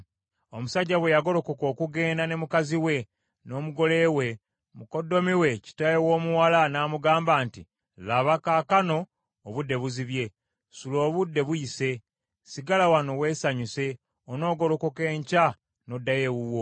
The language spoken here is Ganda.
Omusajja bwe yagolokoka okugenda ne mukazi we n’omugole we, mukoddomi we kitaawe w’omuwala n’amugamba nti, “Laba, kaakano obudde buzibye. Sula obudde buyise. Sigala wano weesanyuse, onoogolokoka enkya n’oddayo ewuwo.”